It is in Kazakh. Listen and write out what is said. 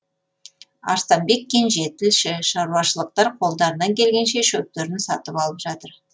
арыстанбек кенже тілші шаруашылықтар қолдарынан келгенше шөптерін сатып алып жатыр